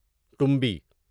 ٹمبی